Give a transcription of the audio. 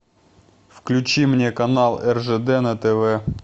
включи мне канал ржд на тв